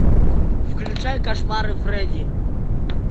включай кошмары фредди